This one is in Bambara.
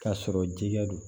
K'a sɔrɔ jɛgɛ do